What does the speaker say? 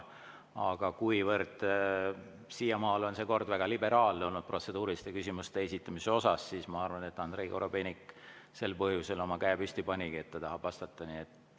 Aga kuivõrd siiamaani on protseduuriliste küsimuste esitamise kord olnud väga liberaalne, siis ma arvan, et sel põhjusel Andrei Korobeinik oma käe püsti panigi, et ta tahab vastata.